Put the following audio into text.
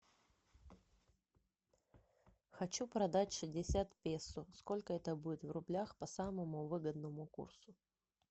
хочу продать шестьдесят песо сколько это будет в рублях по самому выгодному курсу